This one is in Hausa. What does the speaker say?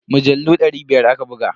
Mujallu dari biya aka buga.